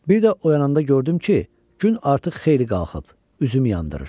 Bir də oyananda gördüm ki, gün artıq xeyli qalxıb, üzümü yandırır.